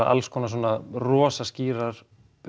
alls konar svona rosa skýrar